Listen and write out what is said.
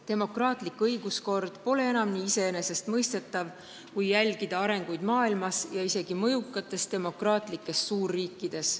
Demokraatlik õiguskord pole enam nii iseenesestmõistetav, kui jälgida arenguid maailmas, isegi mõjukates demokraatlikes suurriikides.